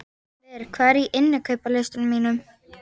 Ver, hvað er á innkaupalistanum mínum?